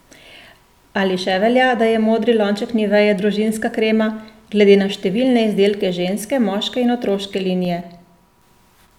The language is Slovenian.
Ali še velja, da je modri lonček nivee družinska krema, glede na številne izdelke ženske, moške in otroške linije?